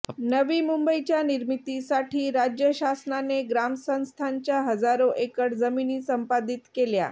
नवी मुंबईच्या निर्मितीसाठी राज्य शासनाने ग्रामस्थांच्या हजारो एकर जमिनी संपादित केल्या